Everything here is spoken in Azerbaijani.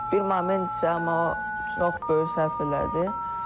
Bir moment isə, amma o çox böyük səhv elədi.